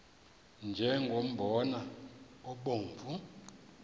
nje umbona obomvu